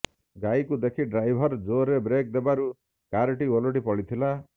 ଗାଈକୁ ଦେଖି ଡ୍ରାଇଭର୍ ଜୋରରେ ବ୍ରେକ୍ ଦେବାରୁ କାର୍ଟି ଓଲଟି ପଡ଼ିଥିଲା